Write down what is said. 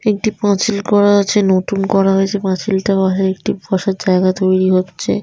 একটি পাঁচিল করা আছে | নতুন করা হয়েছে পাঁচিল টা বসার একটি বসার জায়গা তৈরি হচ্ছে |